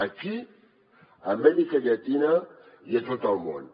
aquí a amèrica llatina i a tot el món